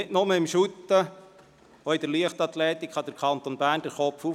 Nicht nur im Fussball, auch in der Leichtathletik kann der Kanton Bern das Haupt erheben.